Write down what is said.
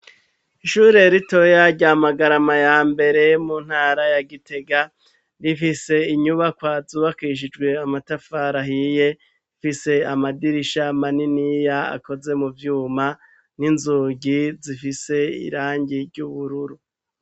Ishure ritoya rya Magarama ya mbere mu ntara ya Gitega, rifise inyubakwa zubakishijwe amatafari ahiye afise amadirisha maniniya akoze mu vyuma n'inzugi zifise irangi ry'ubururu.